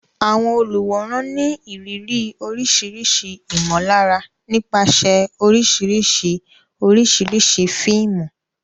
Àwọn olùwòran ní ìrírí oríṣiríṣi ìmọ̀lára nípasẹ̀ oríṣiríṣi oríṣiríṣi fíìmù.